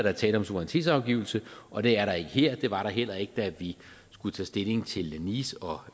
er tale om suverænitetsafgivelse og det er der ikke her det var der heller ikke da vi skulle tage stilling til nice og